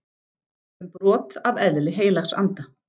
Um brot af eðli Heilags Anda